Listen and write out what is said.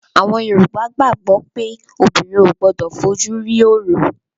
Àwọn Yorùbá gbàgbó pé obìnrin ò gbọ́dọ̀ fojú rí òrò